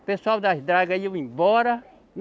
O pessoal das dragas ia embora.